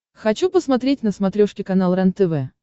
хочу посмотреть на смотрешке канал рентв